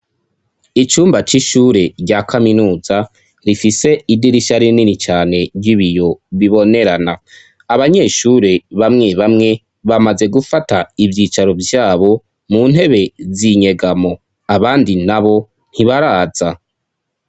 Icumba c'ishure rya kaminuza riifise idirisha rinini cane ry'ibiyo bibonerana abanyeshure bamwe bamwe bamaze gufata ivyicaro vyabo mu ntebe zinyegamo abandi na bo ntibaraza.